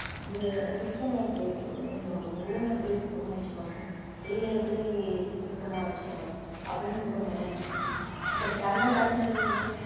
இது kitchen எப்படி வச்~ அஹ் room அ எப்படி சுத்தமா வச்சுக்கணும் வெளில எப்படி சுத்தமா வச்சுக்கணும் அப்படின்னு சுத்தம் பண்ணுவாங்க அப்புறம் தன்னைத்தானே தூய்மை